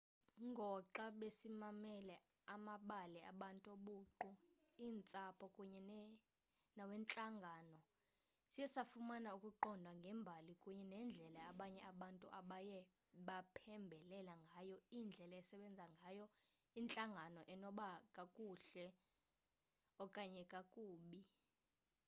ngoxa besimamele amabali abantu obuqu eentsapho kunye nawentlangano siye safumana ukuqonda ngembali kunye nendlela abanye abantu abaye baphembelela ngayo indlela esebenza ngayo intlangano enoba kakuhle okanye kakube